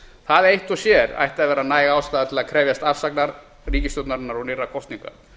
það eitt og sér ætti að vera næg ástæða til að krefjast afsagnar ríkisstjórnarinnar og nýrra kosninga